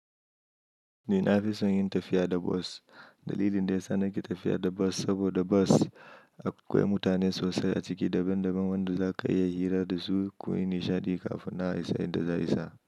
Ni na fi son yin tafiya da bas. Dalilin da ya sa nake tafiya da bas, saboda bas akwai mutane sosai a ciki, daban daban wanda za ka iya hira da su. Ko yin nishaɗi kafin nan a isa inda za ayi sa.